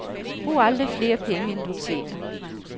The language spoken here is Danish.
Brug aldrig flere penge, end du tjener.